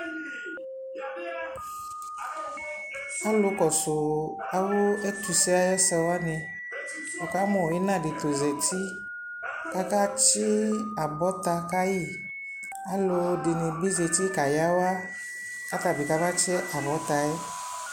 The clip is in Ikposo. ɔlʋ kɔsʋ awʋ ɛtʋ sɛ ayɛsɛ wani, wʋ kamʋ ina di ta ɔzati kʋ aka tsi abɔta kayi, alʋɛdini bi zati ka yawai kʋ atabi kaba tsi abɔtaɛ